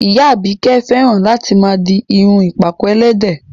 Ìyá Àbíkẹ́ fẹ́ràn láti máa di irun ìpàkọ́ ẹlẹ́dẹ̀